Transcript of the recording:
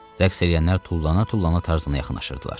Rəqs eləyənlər tullana-tullana Tarzana yaxınlaşırdılar.